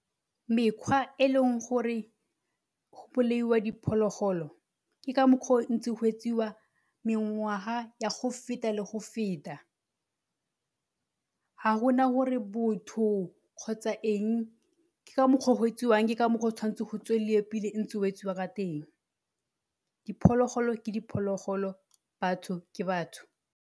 Mekgwa e leng gore go bolaiwa diphologolo ke ka mokgwa o ntse go etsiwa mengwaga ya go feta le go feta ga gona gore botho kgotsa eng ke ka mokgwa o go etsiwang ke ka mokgwa o tshwantse go tsweleliwe pele ntse go etsiwa ka teng. Diphologolo ke diphologolo, batho ke batho.